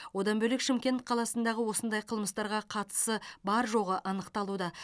одан бөлек шымкент қаласындағы осындай қылмыстарға қатысы бар жоғы анықталуда